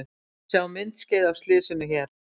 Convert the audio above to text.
Sjá má myndskeið af slysinu hér